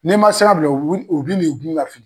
N'i ma sira bila u bi u bi nu gun ka fili